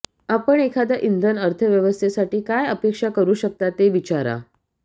आपण एखाद्या इंधन अर्थव्यवस्थेसाठी काय अपेक्षा करू शकता ते विचारा